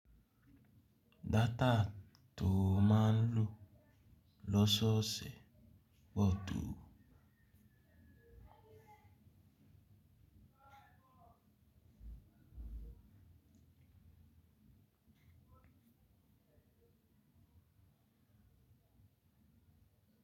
Data to maa n lo loṣooṣe pọ to.